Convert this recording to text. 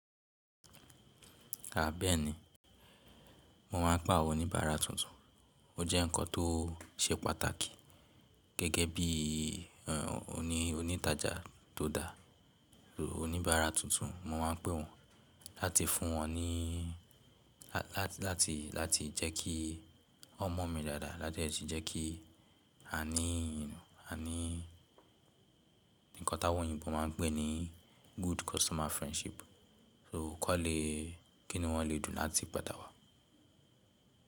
A beeni, mo máa ń pa oníbàárà tuntun, ó jẹ́ ǹkan tó ṣe pàtàkì gẹ́gẹ́ bí i oní ònítajà tó dáa. Oníbàárà tuntun mo máa ń pè wọ́n láti fún wọn ní, láti, láti jẹ́ kí wọ́n mọ̀ mi dáadáa láti jẹ́ kí à ní, à ní nǹkan táwọn oyinbo máa ń pè ní good customer friendship. So kò le, kí ni wọ́n le dùn láti padà wá?